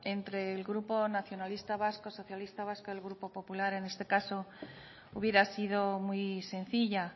entre el grupo nacionalista vasco socialista vasco el grupo popular en este caso hubiera sido muy sencilla